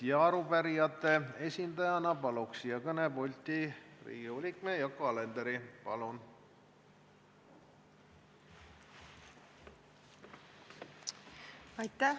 Arupärijate esindajana palun siia kõnepulti Riigikogu liikme Yoko Alenderi.